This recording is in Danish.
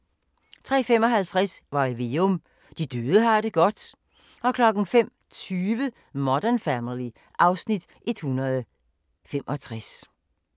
03:55: Varg Veum - De døde har det godt 05:20: Modern Family (Afs. 165)